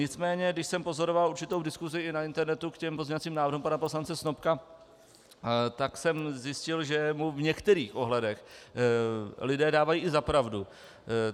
Nicméně když jsem pozoroval určitou diskusi i na internetu k těm pozměňovacím návrhům pana poslance Snopka, tak jsem zjistil, že mu v některých ohledech lidé dávají i za pravdu.